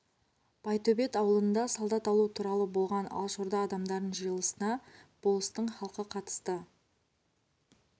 байтөбет аулында солдат алу туралы болған алашорда адамдарының жиылысына болыстың халқы қатысты